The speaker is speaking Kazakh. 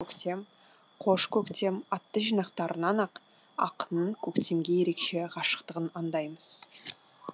көктем қош көктем атты жинақтарынан ақ ақынның көктемге ерекше ғашықтығын аңдаймыз